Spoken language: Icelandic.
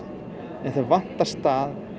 en þeim vantar stað